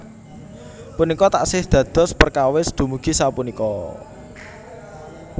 Punika taksih dados perkawis dumugi sapunika